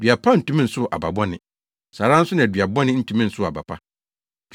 Dua pa ntumi nsow aba bɔne; saa ara nso na dua bɔne ntumi nsow aba pa.